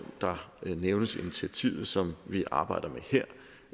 nævnes initiativet som vi arbejder